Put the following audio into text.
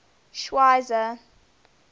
schweizer